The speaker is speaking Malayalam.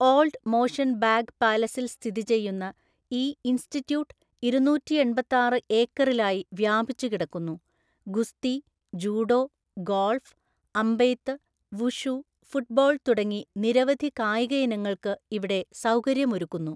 ഓൾഡ് മോഷൻ ബാഗ് പാലസിൽ സ്ഥിതി ചെയ്യുന്ന ഈ ഇൻസ്റ്റിറ്റ്യൂട്ട് ഇരുനൂറ്റിഎണ്‍പത്താറു ഏക്കറിലായി വ്യാപിച്ചുകിടക്കുന്നു, ഗുസ്തി, ജൂഡോ, ഗോൾഫ്, അമ്പെയ്ത്ത്, വുഷു, ഫുട്ബോൾ തുടങ്ങി നിരവധി കായിക ഇനങ്ങൾക്ക് ഇവിടെ സൗകര്യമൊരുക്കുന്നു.